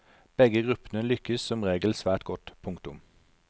Begge gruppene lykkes som regel svært godt. punktum